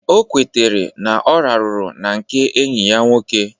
O kwetere na ọ rahụru na nke enyi ya nwoke